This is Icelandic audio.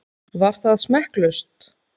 Var það smekklaust?